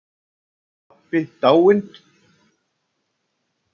Pabbi dáinn.